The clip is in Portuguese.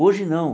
Hoje não.